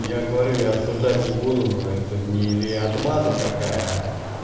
я говорю я осуждать не буду но это не или отмаза какая